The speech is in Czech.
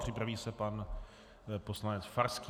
Připraví se pan poslanec Farský.